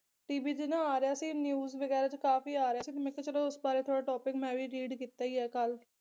TV ਤੇ ਨਾ ਆ ਰਿਹਾ ਸੀ news ਵਗੈਰਾ ਚ ਕਾਫੀ ਆ ਰਿਹਾ ਸੀ ਮੈਂ ਕਿਹਾ ਚਲੋ ਉਸ ਬਾਰੇ ਥੋੜਾ topic ਮੈਂ ਵੀ read ਕੀਤਾ ਈ ਆ ਕੱਲ